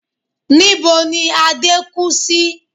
Níbo ni Adé kú sí?